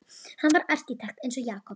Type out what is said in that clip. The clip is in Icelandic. Hann var arkitekt eins og Jakob.